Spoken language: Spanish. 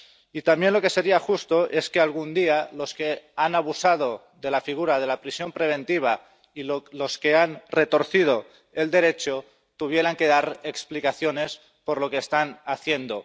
Y también lo que sería justo es que algún día los que han abusado de la figura de la prisión preventiva y los que han retorcido el Derecho tuvieran que dar explicaciones por lo que están haciendo.